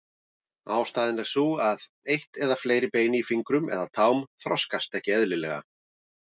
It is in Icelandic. Ástæðan er sú að eitt eða fleiri bein í fingrum eða tám þroskast ekki eðlilega.